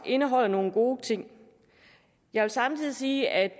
indeholder nogle gode ting jeg vil samtidig sige at vi